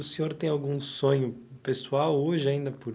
O senhor tem algum sonho pessoal hoje ainda por...